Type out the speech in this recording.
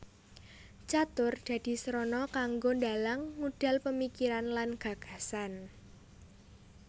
Catur dadi srana kanggo dalang ngudal pamikiran lan gagasane